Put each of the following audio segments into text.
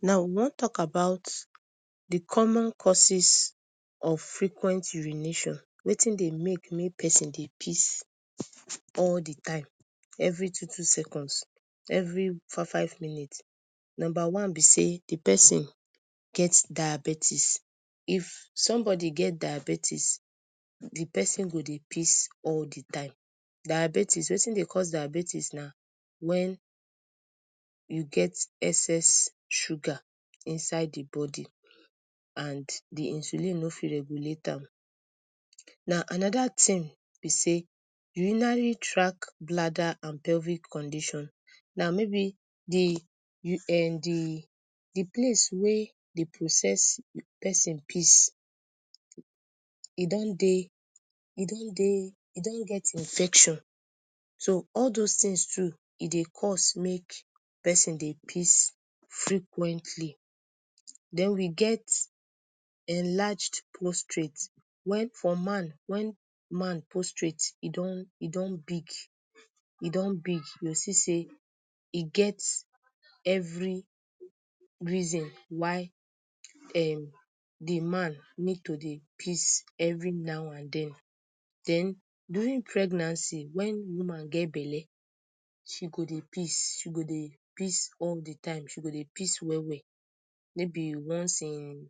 Now we wan talk about d common causes of frequent urination, wetin dey make mey persin dey piss all d time, evry two two seconds every five five minutes, numba one b sey d persin get diabetes, if somebody get diabetes, d persin go dey piss all d time, diabetics, wetin dey cause diabetes na wen u get excess sugar inside d body and d insulin on fit regulate am, now anoda thing b sey urinary track bladder and pelvic condition, now mayb d um d d place wey dey process persin piss, e don dey, e don dey e don get infection, so all those things too e dey cause make, persin dey piss frequently den we get, enlarged postrate, wen for man, wen man postrate e don e don big, e don big, u go see sey e get every reason why um d man need to dey piss every now and den, den during pregnancy, wen woman get belle, she go dey piss, she go dey piss all d time, she go dey piss well well, mayb once in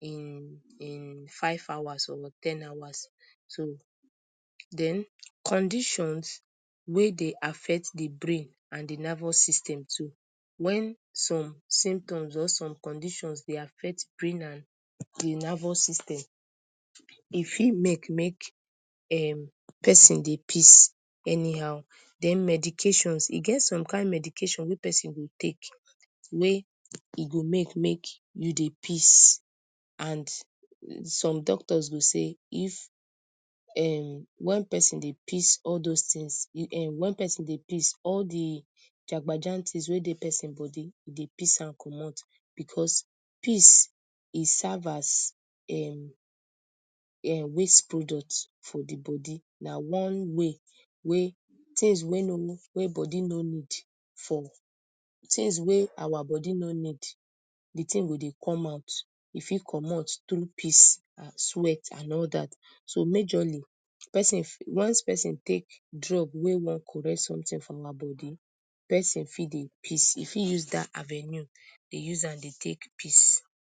in in 5hours or ten hours so, den condition wey dey affect d brain and d nervous system too, wen some symptoms or some condition dey affect brain and d nervous system e fit make make um persin dey piss any how, den medication e get some kind medications wey persin go take wey e go make make u dey piss, and some doctors go say if um when persin dey piss all those thing, um wen persin dey piss all d jabajantis wey dey persin body e dey piss am commot, because piss e serve as um um waste product for d body, na one way wey things wey no wey body nor need for, things wey our body no need, d thing go dey come out, e fit commot thru piss, sweat and all dat, so majorly persin once persin take drug wey wan correct something for our body, persin fit dey pis, e fit use dat avenue dey use am dey take piss.